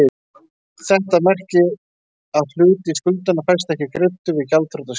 Þetta merkir að hluti skuldanna fæst ekki greiddur við gjaldþrotaskiptin.